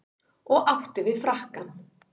Og átti við frakkann.